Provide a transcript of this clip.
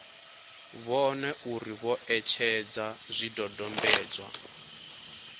vhone uri vho etshedza zwidodombedzwa